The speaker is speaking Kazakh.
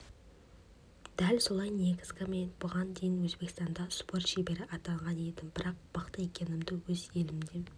дәл солай негізі мен бұған дейін өзбекстанда спорт шебері атанған едім бірақ мықты екенімді өз елімде